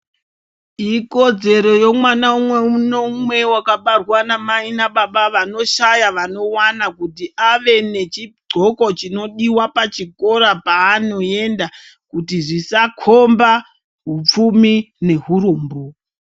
Ikodzero yemwana umwe noumwe wakabarwa namai nababa, vanoshaya vanowana, kuti ave nechidxoko chinodiwa pachikora paanoenda kuti zvisakomba upfumi nehurombo.